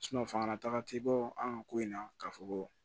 fangataga te bɔ an ka ko in na k'a fɔ ko